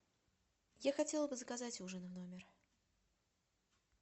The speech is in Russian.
я хотела бы заказать ужин в номер